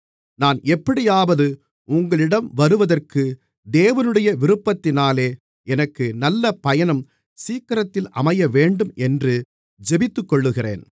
நான் எப்படியாவது உங்களிடம் வருகிறதற்கு தேவனுடைய விருப்பத்தினாலே எனக்கு நல்ல பயணம் சீக்கிரத்தில் அமையவேண்டும் என்று ஜெபித்துக்கொள்கிறேன்